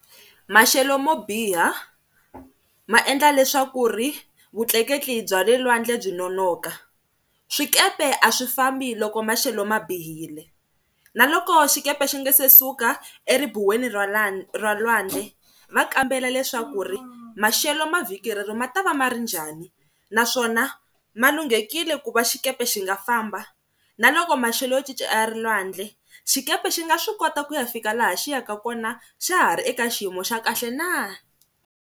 Maxelo mo biha ma endla leswaku ri vutleketli bya le lwandle byi nonoka, swikepe a swi fambi loko maxelo ma bihile. Na loko xikepe xi nga se suka eribuweni ra lwandle va kambela leswaku ri maxelo ma vhiki rero ma ta va ma ri njhani naswona ma lunghekile ku va xikepe xi nga famba na loko maxelo yo cinca a ri lwandle xikepe xi nga swi kota ku ya fika laha xi yaka kona xa ha ri eka xiyimo xa kahle na.